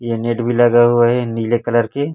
यह नेट भी लगा हुआ है नीले कलर के--